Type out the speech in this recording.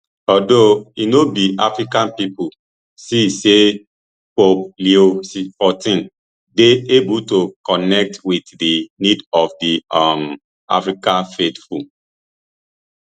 although e no be african pipo see say pope leo xiv dey able to connect wit di needs of di um african faithful